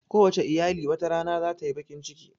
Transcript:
Kowace iyali wata rana zata yi baƙin ciki